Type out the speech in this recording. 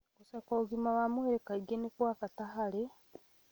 Gũcekwo ũgima wa mwĩrĩ kaingĩ nĩ kwa bata harĩ